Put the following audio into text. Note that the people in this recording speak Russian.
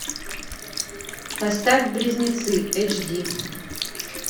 поставь близнецы эйч ди